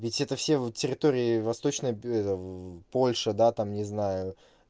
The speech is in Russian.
ведь это все территории восточной это в польши да там не знаю